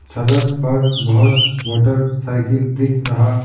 सड़क पर बहुत मोटरसाइकिल दिख रहा--